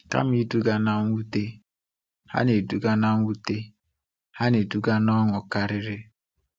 Kama iduga na mwute, ha na-eduga mwute, ha na-eduga na ọṅụ karịrị.